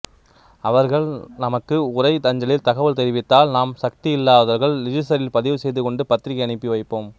அவர்கள் நமக்கு உறை அஞ்சலில் தகவல் தெரிவித்தால் நாம் சக்தியில்லாதவர்கள் ரிஜிஸ்தரில் பதிவுசெய்து கொண்டு பத்திரிகை அனுப்பி வைப்போம்